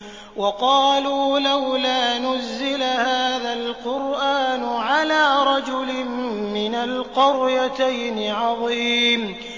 وَقَالُوا لَوْلَا نُزِّلَ هَٰذَا الْقُرْآنُ عَلَىٰ رَجُلٍ مِّنَ الْقَرْيَتَيْنِ عَظِيمٍ